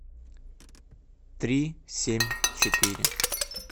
три семь четыре